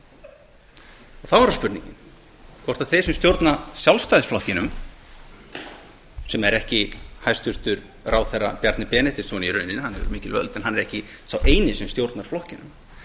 framsóknarflokkurinn þá er það spurningin hvort þeir sem stjórna sjálfstæðisflokknum sem er ekki hæstvirtur ráðherra bjarni benediktsson í rauninni hann hefur mikil völd en hann er ekki sá eini sem stjórnar flokknum